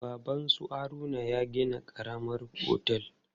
Baban su Haruna ya gina karamar otel.